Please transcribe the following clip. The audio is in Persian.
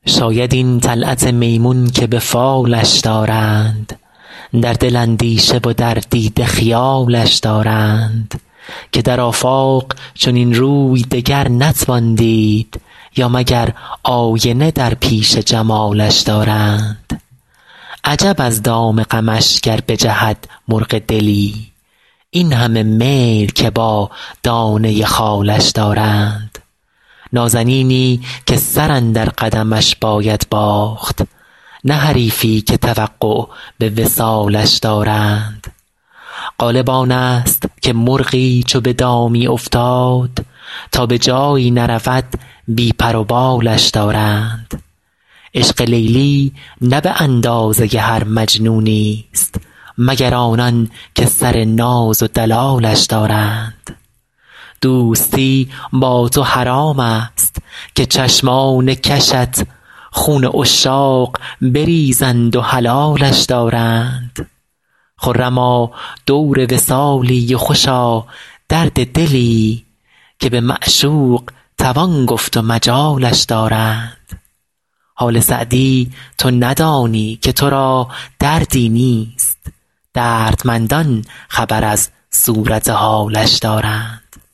شاید این طلعت میمون که به فالش دارند در دل اندیشه و در دیده خیالش دارند که در آفاق چنین روی دگر نتوان دید یا مگر آینه در پیش جمالش دارند عجب از دام غمش گر بجهد مرغ دلی این همه میل که با دانه خالش دارند نازنینی که سر اندر قدمش باید باخت نه حریفی که توقع به وصالش دارند غالب آن ست که مرغی چو به دامی افتاد تا به جایی نرود بی پر و بالش دارند عشق لیلی نه به اندازه هر مجنونی ست مگر آنان که سر ناز و دلالش دارند دوستی با تو حرام ست که چشمان کشت خون عشاق بریزند و حلالش دارند خرما دور وصالی و خوشا درد دلی که به معشوق توان گفت و مجالش دارند حال سعدی تو ندانی که تو را دردی نیست دردمندان خبر از صورت حالش دارند